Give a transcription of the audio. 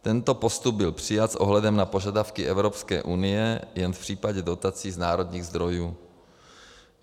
Tento postup byl přijat s ohledem na požadavky Evropské unie jen v případě dotací z národních zdrojů.